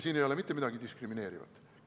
Siin ei ole mitte midagi diskrimineerivat.